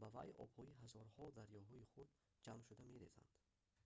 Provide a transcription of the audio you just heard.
ба вай обҳои ҳазорҳо дарёҳои хурд ҷамъ шуда мерезанд